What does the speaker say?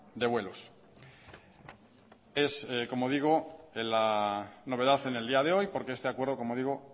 de vuelos es como digo la novedad en el día de hoy porque este acuerdo como digo